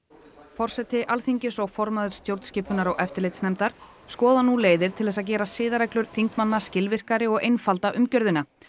forseti Alþingis og formaður stjórnskipunar og eftirlitsnefndar skoða nú leiðir til að gera siðareglur þingmanna skilvirkari og einfalda umgjörðina